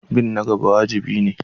Bin na gaba wajibi ne.